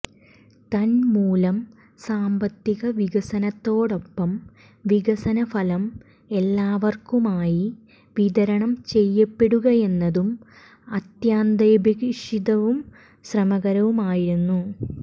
തന്മൂലം സാമ്പത്തിക വികസനത്തോടെപ്പം വികസന ഫലം എല്ലാവര്ക്കുമായി വിതരണം ചെയ്യപ്പെടുകയെന്നതും അത്യന്താപേക്ഷിതവും ശ്രമകരവുമായിരുന്നു